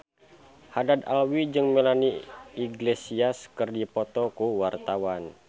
Haddad Alwi jeung Melanie Iglesias keur dipoto ku wartawan